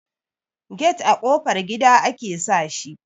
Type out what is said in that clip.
get a ƙofar gida ake sa shi